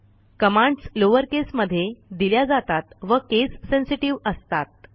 commands lowercase मधे दिल्या जातात व केस सेन्सेटिव्ह असतात